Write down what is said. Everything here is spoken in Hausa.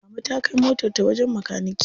Mama ta kai motar ta wajen makanike.